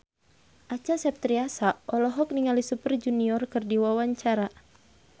Acha Septriasa olohok ningali Super Junior keur diwawancara